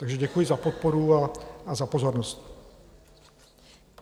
Takže děkuji za podporu a za pozornost.